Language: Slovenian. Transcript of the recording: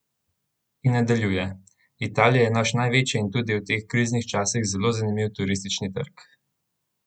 In nadaljuje: "Italija je naš največji in tudi v teh kriznih časih zelo zanimiv turistični trg.